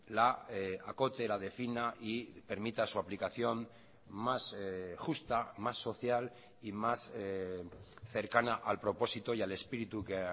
la acote la defina y permita su aplicación más justa más social y más cercana al propósito y al espíritu que